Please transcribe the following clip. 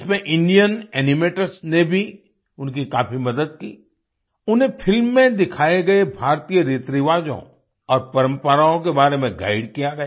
इसमें Indian animators ने भी उनकी काफी मदद की उन्हें फिल्म में दिखाए गए भारतीय रीतिरिवाजों और परम्पराओं के बारे में गाइड किया गया